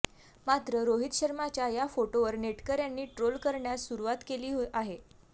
मात्र रोहित शर्माच्या या फोटोवर नेटकऱ्यांनी ट्रोल करण्यास सुरुवात केली आहे